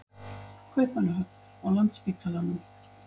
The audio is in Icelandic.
Kaupmannahöfn, á Landspítalanum.